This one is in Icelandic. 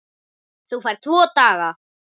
Þú færð tvo daga.